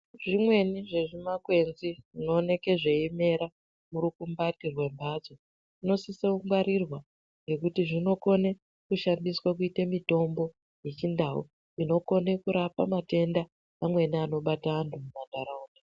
Zvimweni zvezvimakwenzi zvinooneka zveimera murukumbati mwembatso zvinosise kungwarirwa ngekuti zvinokone kushandiswa kuite mutombo wechindau inokone kurapa matebda amweni anobate antu mumantaraunda.